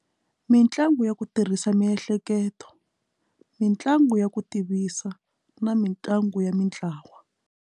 Mitlangu ya ku tirhisa miehleketo mitlangu ya ku tivisa na mitlangu ya mintlawa.